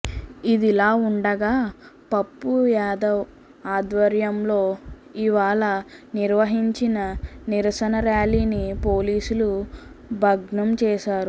ఇదిలాఉండగా పప్పు యాదవ్ ఆధ్వరంయలో ఇవాళ నిర్వహించిన నిరసన ర్యాలీని పోలీసుల భగ్నంచేశారు